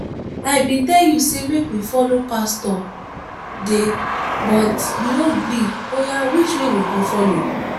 i bin tell you make we follow pastor de but you no gree oya which way we go follow?